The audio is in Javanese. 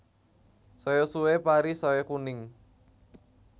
Saya suwe pari saya kuning